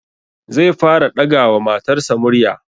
Zai fara ɗaga wa matarsa murya